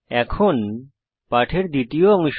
এখন পাঠের দ্বিতীয় অংশ